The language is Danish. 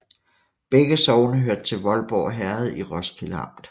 Begge sogne hørte til Voldborg Herred i Roskilde Amt